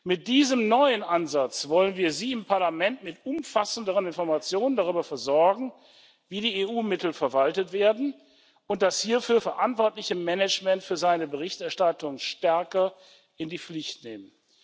Mit diesem neuen Ansatz wollen wir Sie im Parlament mit umfassenderen Informationen darüber versorgen, wie die EU Mittel verwaltet werden, und das hierfür verantwortliche Management für seine Berichterstattung stärker in die Pflicht nehmen.